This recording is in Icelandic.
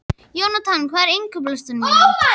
Jónatan, hvað er á innkaupalistanum mínum?